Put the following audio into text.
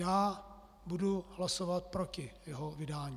Já budu hlasovat proti jeho vydání.